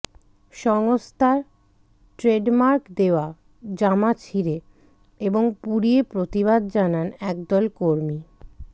সংস্থার ট্রেডমার্ক দেওয়া জামা ছিঁড়ে এবং পুড়িয়ে প্রতিবাদ জানান একদল কর্মী